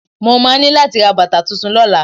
Mo máa ní láti ra bàtà tuntun lọ́la.